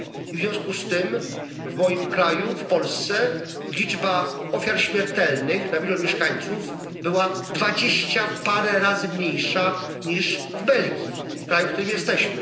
W związku z tym w moim kraju, w Polsce, liczba ofiar śmiertelnych na milion mieszkańców była dwadzieścia parę razy mniejsza niż w Belgii w kraju, w którym jesteśmy.